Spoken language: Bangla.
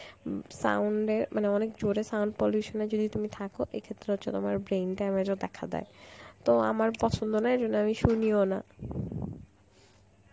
উম sound এ মানে অনেক জোরে sound pollution এ যদি তুমি থাকো এই ক্ষেত্রে হচ্ছে তোমার brain damage ও দেখা দেয়. তো আমার পছন্দ না এই জন্য আমি শুনিও না.